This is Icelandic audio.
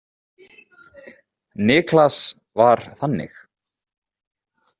Niklas var þannig.